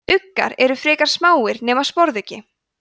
uggar eru frekar smáir nema sporðuggi